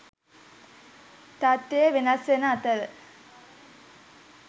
තත්ත්වය වෙනස් වන අතර